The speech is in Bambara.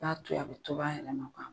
T'a to yen a bi tob'a yɛrɛma